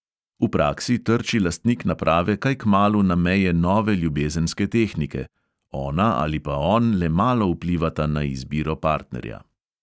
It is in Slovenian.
V praksi trči lastnik naprave kaj kmalu na meje nove ljubezenske tehnike: ona ali pa on le malo vplivata na izbiro partnerja.